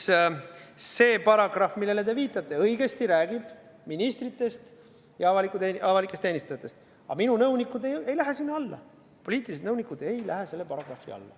Ja see paragrahv, millele te viitate, räägib ministritest ja avalikest teenistujatest, aga minu nõunikud ei lähe sinna alla, poliitilised nõunikud ei lähe selle paragrahvi alla.